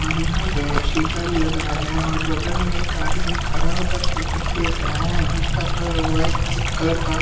और यहाँ पे शीशा भी लगाया गया है और बगल में एक आदमी खड़ा होकर के कुछ देख रहा है जिसका कलर व्हाईट कलर का--